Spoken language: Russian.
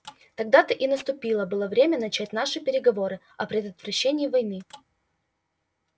тогда-то и наступило было время начать наши переговоры о предотвращении войны